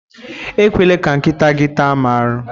Ekwela ka nkịta gị taa mụ arụ!